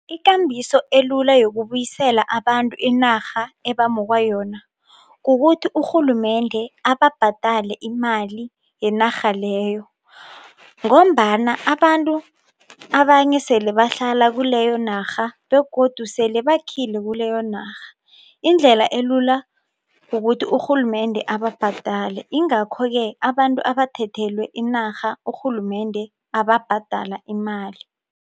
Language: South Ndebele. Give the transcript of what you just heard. Ikambiso elula yokubuyisela abantu inarha ebamukwa yona kukuthi urhulumende ababhadale imali yenarha leyo ngombana abantu abanye sele bahlala kuleyo narha begodu sele bakhile kuleyo narha, indlela elula kukuthi urhulumende ababhadale ingakho-ke abantu abathethelwe inarha urhulumende ababhadala imali.